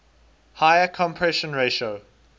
higher compression ratio